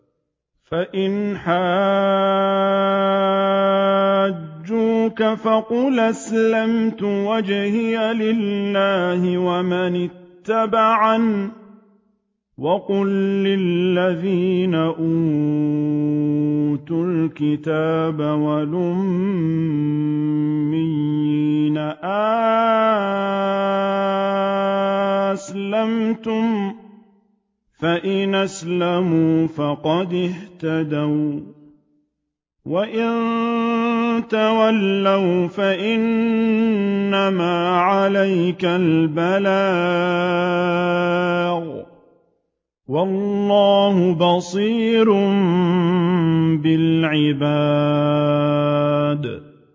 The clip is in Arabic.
فَإِنْ حَاجُّوكَ فَقُلْ أَسْلَمْتُ وَجْهِيَ لِلَّهِ وَمَنِ اتَّبَعَنِ ۗ وَقُل لِّلَّذِينَ أُوتُوا الْكِتَابَ وَالْأُمِّيِّينَ أَأَسْلَمْتُمْ ۚ فَإِنْ أَسْلَمُوا فَقَدِ اهْتَدَوا ۖ وَّإِن تَوَلَّوْا فَإِنَّمَا عَلَيْكَ الْبَلَاغُ ۗ وَاللَّهُ بَصِيرٌ بِالْعِبَادِ